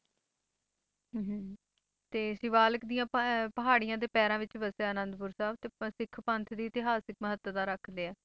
ਹਮ ਤੇ ਸਿਵਾਲਕ ਦੀ ਪ~ ਪਹਾੜੀਆਂ ਦੇ ਪੈਰਾਂ ਵਿੱਚ ਵਸਿਆ ਆਨੰਦਪੁਰ ਸਾਹਿਬ ਤੇ ਪ~ ਸਿੱਖ ਪੰਥ ਦੀ ਇਤਿਹਾਸਕ ਮਹੱਤਤਾ ਰੱਖਦੇ ਹੈ।